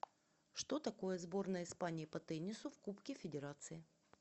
что такое сборная испании по теннису в кубке федерации